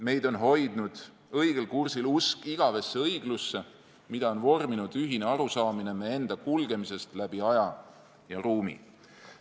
Meid on hoidnud õigel kursil usk igavesse õiglusesse, mida on vorminud ühine arusaamine meie enda kulgemisest läbi aja ja ruumi.